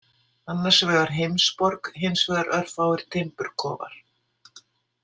Annars vegar heimsborg, hins vegar örfáir timburkofar.